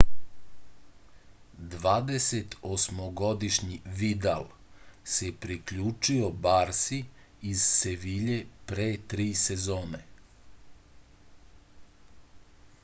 dvadesetosmogodišnji vidal se priključio barsi iz sevilje pre tri sezone